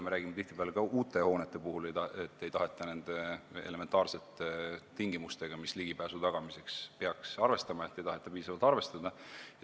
Me räägime tihtipeale ka uute hoonete puhul, et ei taheta piisavalt arvestada nende elementaarsete tingimustega, millega ligipääsu tagamisel arvestama peaks.